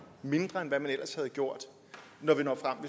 mindre end hvad man ellers ville have gjort når vi når frem